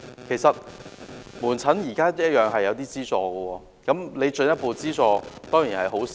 其實，向門診服務提供進一步資助當然是好事。